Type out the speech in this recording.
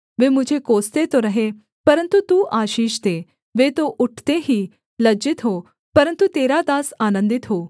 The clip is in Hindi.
वे मुझे कोसते तो रहें परन्तु तू आशीष दे वे तो उठते ही लज्जित हों परन्तु तेरा दास आनन्दित हो